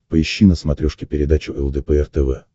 поищи на смотрешке передачу лдпр тв